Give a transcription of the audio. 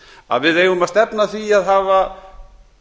að við eigum að stefna að því að hafa